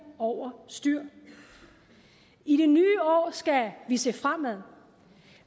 over styr i det nye år skal vi se fremad